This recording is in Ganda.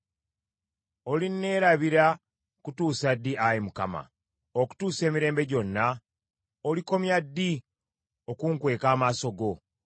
Olinneerabira kutuusa ddi, Ayi Mukama ? Okutuusa emirembe gyonna? Olikomya ddi okunkweka amaaso go?